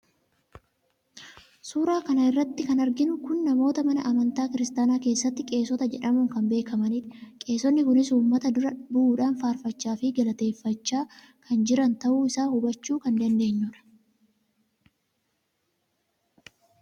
suuraa kana irratti kan arginu kun namoota mana amantaa kiristaanaa keessatti qeesota jedhamuun kan beekamanidha. qeesonni kunis uummata dura bu'uudhaan faarfachaafi galateeffachaa kan jiran ta'uu isaa hubachuu kan dandeenyu dha.